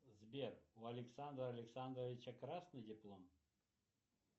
сбер у александра александровича красный диплом